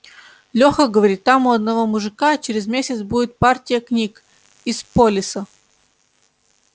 лёха говорит там у одного мужика через месяц будет партия книг из полиса